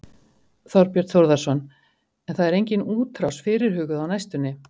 Þorbjörn Þórðarson: En það er engin útrás fyrirhuguð á næstunni?